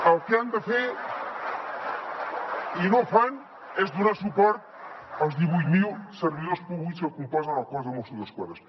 el que han de fer i no fan és donar suport als divuit mil servidors públics que componen el cos de mossos d’esquadra